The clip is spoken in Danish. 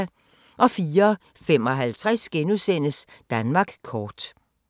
04:55: Danmark kort *